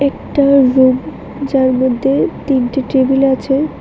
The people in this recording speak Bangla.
একটা রুম যার মধ্যে তিনটি টেবিল আছে।